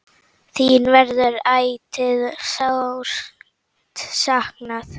Þín verður ætíð sárt saknað.